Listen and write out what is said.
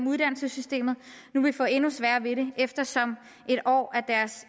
uddannelsessystemet nu vil få endnu sværere ved det eftersom en år af deres